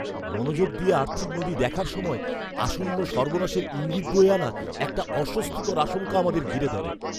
মনোযোগ দিয়ে আর্থিক নথি দেখার সময় আসন্ন সর্বনাশের ইঙ্গিত বয়ে আনা একটা অস্বস্তিকর আশঙ্কা আমাদের ঘিরে ধরে।